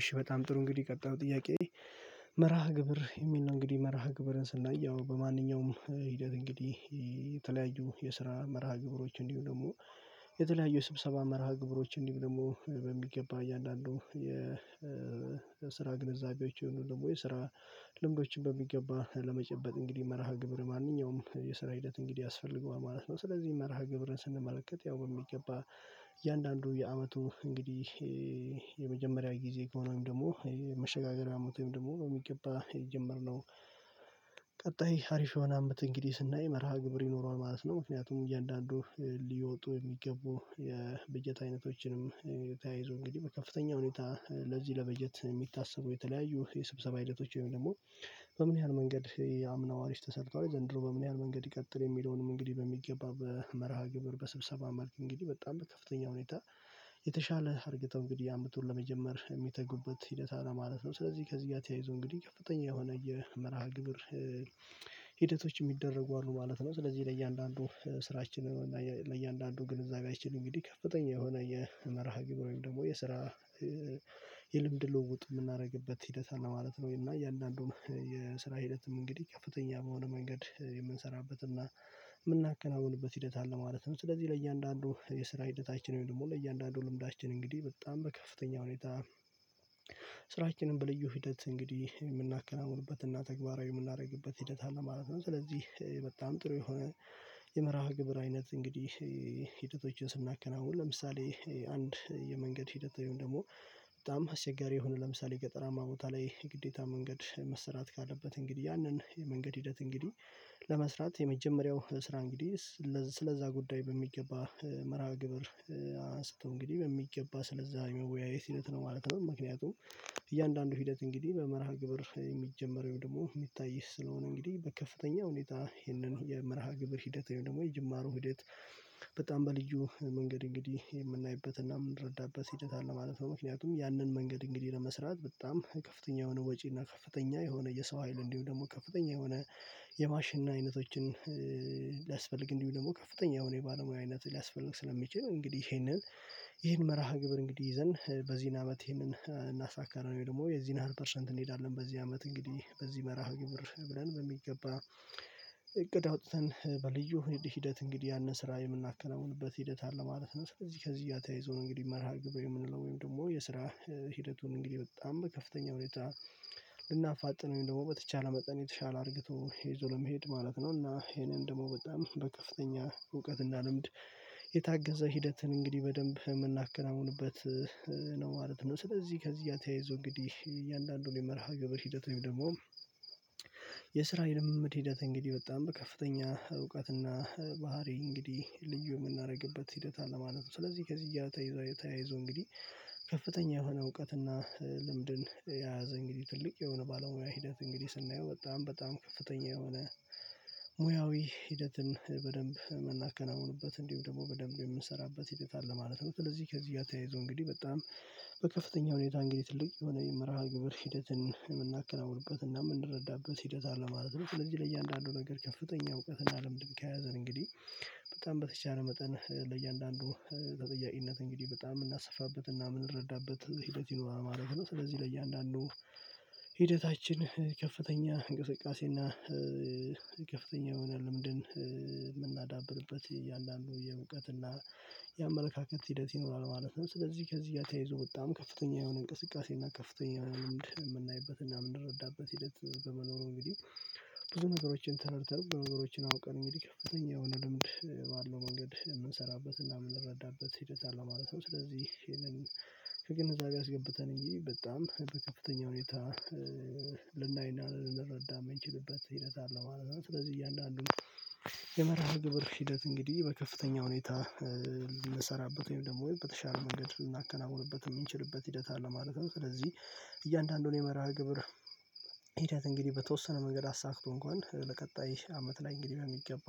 እሺ በጣም ጥሩ እንግዲህ ቀጣዩ ጥያቄ? መርሃ ግብር የሚል ነው እንግዲህ መርሃ ግብርን ስናይ በማንኛውም ሂደት እንግዲህ የተለያዩ የስራ መርሃ ግብሮች እንዲውም ደግሞ የተለያዩ የስብሰባ መርሃ ግብሮች እንዲሆኑ ደግሞ በሚገባ እያንዳንዱ የስራ ግንዛቤዎች ወይንም ደግሞ ስራ ልምዶችን በሚገባ ለመጨበጥ እንግዲህ መርሃ ግብር ማንኛውም የስራ ሂደት እንግዲህ ያስፈልገዋል ማለት ነው። ስለዚህ መርሃ ግብርን ስንመለከት ያው በሚገባ እያንዳንዱ የአመቱ እንግዲህ የመጀመሪያው ጊዜ ከሆነውም ደግሞ መሸጋገሪያ አመት ደግሞ የሚገባ የጀመርነው ቀጣይ አሪፍ የሆነ አመት እንግዲህ ስናይ መርሃ ግብር ይኖረዋል ማለት ነው። ምክንያቱም እያንዳንዱ ሊወጡ የሚገቡ የበጀት አይነቶችንም ተያይዞ እንግዲህ በከፍተኛ ሁኔታ ለዚህ ለበጀት የሚታሰቡ የተለያዩ የስብሰባ ሂደቶች ወይም ደግሞ በምን ያህል መንገድ የአምናው አሪፍ ተሰርቷል ላይ ዘንድሮ በምን ያህል መንገድ ይቀጥል የሚለውንም እንግዲህ በሚገባ በመርሃ ግብር በስብሰባ መልክ እንግዲህ በጣም ከፍተኛ ሁኔታ የተሻለ አርግተው እንግዲህ አምጥተው ለመጀመር የሚተጉበት ሂደት አለ ማለት ነው። ስለዚህ ከዚህ ጋር ተያይዞ እንግዲህ ከፍተኛ የሆነ የመርሃ ግብር ሂደቶች የሚደረጉ አሉ ማለት ነው። ስለዚህ ለእያንዳንዱ ስራችን ለእያንዳንዱ ግንዛቤያችን እንግዲህ ከፍተኛ የሆነ የመርሃ ግብር ወይም ደግሞ የስራ የልምድ ልውጥ የምናደርግበት ሂደት አለ ማለት ነው። እና የእያንዳንዱን የስራ ሂደትም እንግዲህ ከፍተኛ በሆነ መንገድ የምንሰራበት እና የምናከናውንበት ሂደት አለ ማለትም ስለዚህ ለእያንዳንዱ የስራ ሂደታችን ወይም ደግሞ ለእያንዳንዱ ልምዳችን እንግዲህ በጣም በከፍተኛ ሁኔታ ስራችንን በልዩ ሂደት እንግዲህ የምናከናውንበት እና ተግባራዊ የምናደርግበት ሂደት አለ ማለት ነው። ስለዚህ በጣም ጥሩ የሆነ የመርሃ ግብር አይነት እንግዲህ ሂደቶችን ስናከናውን ለምሳሌ አንድ የመንገድ ሂደት ወይም ደግሞ በጣም አስቸጋሪ የሆነ ለምሳሌ ገጠራማ ቦታ ላይ የግዴታ መንገድ መሰራት ካለበት እንግዲህ ያንን የመንገድ ሂደት እንግዲህ ለመስራት የመጀመሪያው ስራ እንግዲህ ስለዛ ጉዳይ በሚገባ መርሃ ግብር አንስቶ እንግዲህ በሚገባ ስለዛ የመወያየት ሂደት ነው ማለት ነው። ምክንያቱም እያንዳንዱ ሂደት እንግዲህ በመርሃ ግብር የሚጀመረው ደግሞ የሚታይ ስለሆነ እንግዲህ በከፍተኛ ሁኔታ ይህንን የመርሃ ግብር ሂደት ወይም ደግሞ የጅማሮ ህይወት በጣም በልዩ መንገድ እንግዲህ የምናይበትና የምንረዳበት ሲል አለ ማለት ነው። ምክንያቱም ያንን መንገድ እንግዲህ ለመስራት በጣም ከፍተኛ የሆነ ወጪ እና ከፍተኛ የሆነ የሰው ሀይል እንዲሁ ደግሞ ከፍተኛ የሆነ የማሽን አይነቶችን ሊያስፈልግ እንዲሁ ደግሞ ከፍተኛ የሆነ የባለሙያ አይነት ሊያስፈልግ ስለሚችል እንግዲህ ይሄንን ይሄን መርሃ ግብር እንግዲህ ይዘን በዚህን አመት ይሄንን እናሳካለን ወይ ደግሞ የዚህን ሀይል ፐርሰንት እንሄዳለን በዚህ አመት እንግዲህ በዚህ መርሃ ግብር ብለን በሚገባ እቅድ አውጥተን በልዩ ሂደት እንግዲህ ያንን ስራ የምናከናውንበት ሂደት አለ ማለት ነው። ስለዚህ ከዚህ ጋር ተያይዞ እንግዲህ መርሃ ግብር የምንለው ወይም ደግሞ የስራ ሂደቱን እንግዲህ በጣም ከፍተኛ ሁኔታ ልናፋጥነው ወይም ደግሞ በተቻለ መጠን የተሻለ አድርገው ይዞ ለመሄድ ማለት ነው። እና ይሄንን ደግሞ በጣም በከፍተኛ እውቀት እና ልምድ የታገዘ ሂደትን እንግዲህ በደንብ የምናከናውንበት ነው ማለት ነው። ስለዚህ ከዚህ ያተያይዞ እንግዲህ እያንዳንዱን የመርሃ ግብር ሂደት ደግሞ የስራ የልምድ ሂደት እንግዲህ በጣም በከፍተኛ እውቀትና ባህሪ እንግዲህ ልዩ የምናደርግበት ሂደት አለ ማለት ነው። ስለዚህ ከዚህ ጋር ተያይዘው እየተያይዘው እንግዲህ ከፍተኛ የሆነ እውቀትና ልምድን የያዘ እንግዲህ ትልቅ የሆነ ባለሙያ ሂደት እንግዲህ ስናየው በጣም በጣም ከፍተኛ የሆነ ሙያዊ ሂደትን በደንብ የምናከናውኑበት እንዲሁ ደግሞ በደንብ የምንሰራበት ሂደት ለማለት ነው። ስለዚህ ከዚህ እያተያይዞ እንግዲህ በጣም በከፍተኛ ሁኔታ እንግዲህ ትልቅ የሆነ የመርሃ ግብር ሂደትን የምናከናውንበት እና የምንረዳበት ሂደት አለ ማለት ነው። ስለዚህ ለእያንዳንዱ ነገር ከፍተኛ እውቀት እና ለምንድን ከያዘን እንግዲህ በጣም በተቻለ መጠን ለእያንዳንዱ ተጠያቂነት እንግዲህ በጣም የምናሰፋበትና የምንረዳበት ሂደት ይኖራል ማለት ነው። ስለዚህ ለእያንዳንዱ ሂደታችን ከፍተኛ እንቅስቃሴና ከፍተኛ የሆነ ለምድን ያንዳንዱ የእውቀትና የአመለካከት ሂደት ይኖራል ማለት ነው። ስለዚህ ከዚህ ጋር ተያይዞ በጣም ከፍተኛ የሆነ እንቅስቃሴ እና ከፍተኛ የሆነ ልምድ የምናይበት እና የምንረዳበት ሂደት በመኖሩ እንግዲህ ብዙ ነገሮችን ተነርተን ነገሮችን አውቀን እንግዲህ ከፍተኛ የሆነ ልምድ ባለው መንገድ የምንሰራበትና የምንረዳበት ሂደት አለ ማለት ነው። ስለዚህ ይሄንን ከግንዛቤ አስገብተን እንጂ በጣም በከፍተኛ ሁኔታ ልናይና ልንረዳህ የምንችልበት ሂደት አለው ማለት ነው። ስለዚህ እያለ አሉ። የመርሃ ግብር ሂደት እንግዲህ በከፍተኛ ሁኔታ ልንሰራበት ወይም ደግሞ በተሻለ መንገድ ልናከናውንበት የምንችልበት ሂደት አለ ማለት ነው። ስለዚህ እያንዳንዱን የመርሃ ግብር ሂደት እንግዲህ በተወሰነ መንገድ አሳክቶ እንኳን ለቀጣይ አመት ላይ እንግዲህ በሚገባ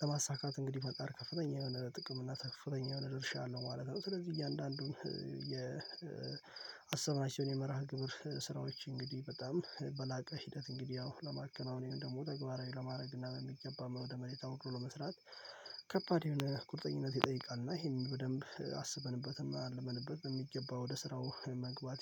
ለማሳካት እንግዲህ ፈጣር ከፍተኛ የሆነ ጥቅም እና ከፍተኛ የሆነ ድርሻ አለው ማለት ነው። ስለዚህ እያንዳንዱን የአሰባችውን የመርሃ ግብር ስራዎች እንግዲህ በጣም በላቀ ሂደት እንግዲህ አዎ ለማከናወን ደግሞ ተግባራዊ ለማድረግ እና በሚገባ ወደመሬት አውርዶ ለመስራት ከባድ የሆነ ቁርጠኝነት ይጠይቃል። እና ይሄንን በደንብ አስበንበትም አልመንበትም የሚገባ ወደ ስራው መግባት